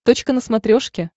точка на смотрешке